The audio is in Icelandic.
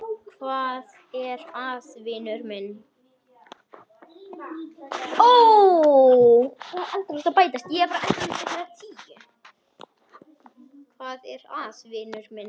Hvað er að, vinur minn?